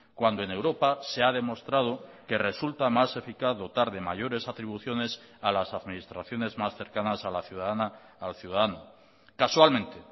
cuando en europa se ha demostrado que resulta más eficaz dotar de mayores atribuciones a las administraciones más cercanas a la ciudadana al ciudadano casualmente